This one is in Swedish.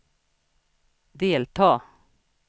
delta